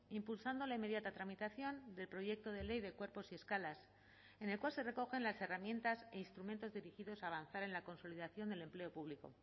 impulsando la inmediata tramitación del proyecto de ley de cuerpos y escalas en el cual se recogen las herramientas e instrumentos dirigidos a avanzar en la consolidación del empleo público